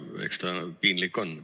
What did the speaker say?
Eks ta piinlik on.